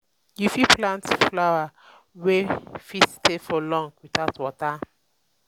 you fit plant flower wey fit stay for long without water